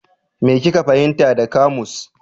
Me kika fahimta da kamus?